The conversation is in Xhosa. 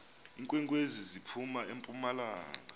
iinkwenkwezi ziphum empumalanga